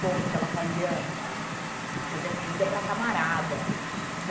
conta que ela fazia fazia comida para a camarada né.